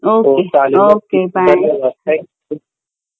okay bye